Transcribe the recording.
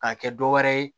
K'a kɛ dɔ wɛrɛ ye